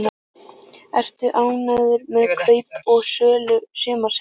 Ertu ánægður með kaup og sölur sumarsins?